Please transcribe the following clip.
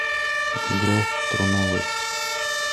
мигре труновой